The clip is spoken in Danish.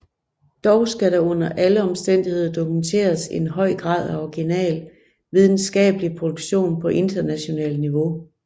Dog skal der under alle omstændigheder dokumenteres en høj grad af original videnskabelig produktion på internationalt niveau